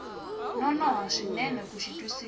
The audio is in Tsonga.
nonoha swinene ku xi twisisa